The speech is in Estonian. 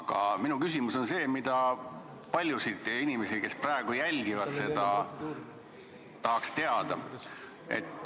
Aga minu küsimus on see, mida paljud inimesed, kes praegu seda jälgivad, tahaks teada.